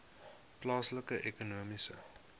plaaslike ekonomiese